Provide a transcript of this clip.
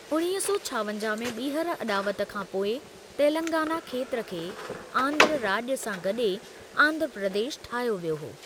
उणिवीह सौ छावंजाहु में ॿीहर अॾावत खां पोइ तेलंगाना खेत्र खे आंध्र राॼु सां गॾे आंध्र प्रदेश ठाहियो वियो हो।